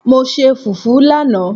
Mo se fufu lanaa